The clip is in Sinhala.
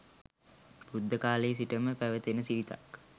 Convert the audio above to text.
බුද්ධ කාලයේ සිටම පැවත එන සිරිතක්.